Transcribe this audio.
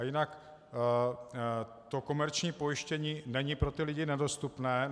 A jinak to komerční pojištění není pro ty lidi nedostupné.